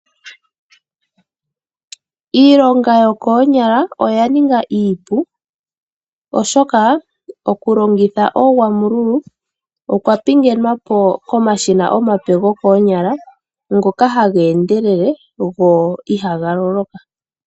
Iilonga yokoonyala oya ninga iipu, oshoka okulongitha oogwamululu okwa pingenwa po komashina omape gokoonyala ngoka haga endelele go ihaga loloka.